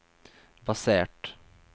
basert